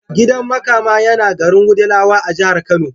Gidan Makama yana garin Wudilawa a jihar Kano.